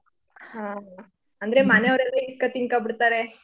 ಹಾ. ಅಂದ್ರೆ ಮನೇವ್ರೆಲ್ಲ ಈಸ್ಕೊ ತಿನ್ಕೊಬಿಡ್ತಾರೆ